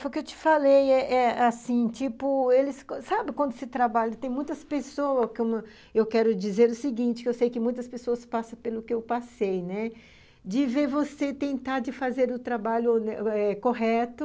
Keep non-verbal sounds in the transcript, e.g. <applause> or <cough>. Foi o que eu te falei eh eh assim, tipo, eles, sabe quando se trabalha, tem muitas pessoas, <unintelligible> eu quero dizer o seguinte, eu sei que muitas pessoas passam pelo que eu passei, né, de ver você tentar de fazer o trabalho <unintelligible> correto,